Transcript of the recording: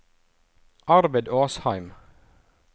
Arvid Åsheim